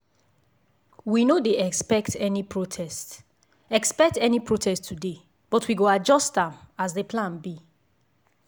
we no dey expect any protest expect any protest today but we go adjust am as the plan be